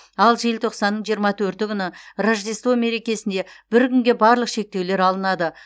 ал желтоқсанның жиырма төрті күні рождество мерекесінде бір күнге барлық шектеулер алынады